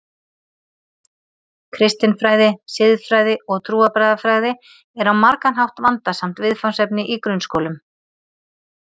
Kristin fræði, siðfræði og trúarbragðafræði er á margan hátt vandasamt viðfangsefni í grunnskólum.